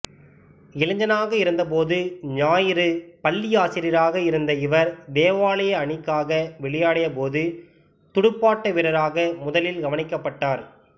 இளைஞனாக இருந்த போது ஞாயிறு பள்ளி ஆசிரியராக இருந்த இவர் தேவாலய அணிக்காக விளையாடியபோது துடுப்பாட்டவீரராக முதலில் கவனிக்கப்பட்டார்